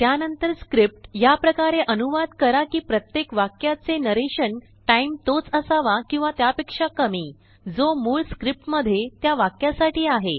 त्यानंतर स्क्रिप्ट याप्रकारेअनुवाद कराकि प्रत्येकवाक्याचे नरेशनटाइम तोच असावा किंवा त्यापेक्षा कमी जो मूळस्क्रिप्टमध्ये त्यावाक्यासाठी आहे